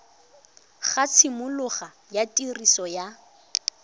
ga tshimologo ya tiriso ya